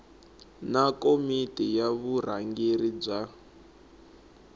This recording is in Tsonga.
na komiti ya vurhangeri bya